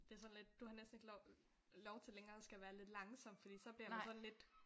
Det er sådan lidt du har næsten ikke lov til længere at skal være lidt langsom fordi så bliver man sådan lidt